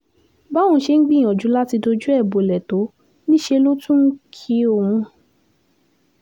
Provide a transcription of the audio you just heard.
báwọn ṣe ń gbìyànjú láti dojú ẹ̀ bọlẹ̀ tó níṣẹ́ ló tún ń kí òun